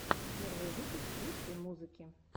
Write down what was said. первый выпуск русской музыки